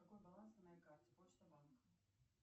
какой баланс на моей карте почта банк